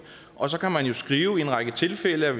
og så kan man jo skrive i en række tilfælde at